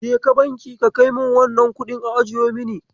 Kaje banki ka a kaimini wannan kuɗin a ajiye mini.